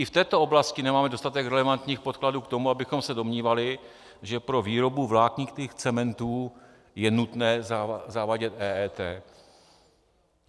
I v této oblasti nemáme dostatek relevantních podkladů k tomu, abychom se domnívali, že pro výrobu vláknitých cementů je nutné zavádět EET.